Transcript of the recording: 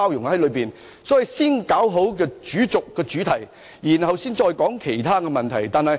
因此，我們需要先處理好主軸、主題，然後才討論其他問題。